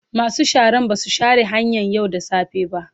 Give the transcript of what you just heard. Masu sharan ba su share hanyan yau da safe ba.